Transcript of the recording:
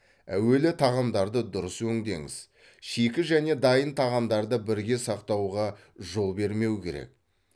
әуелі тағамдарды дұрыс өңдеңіз шикі және дайын тағамдарды бірге сақтауға жол бермеу керек